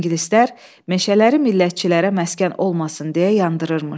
İngilislər meşələri millətçilərə məskən olmasın deyə yandırırmış.